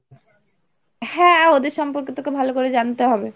হ্যাঁ, ওদের সম্পর্কে তোকে ভালো করে জানতে হবে।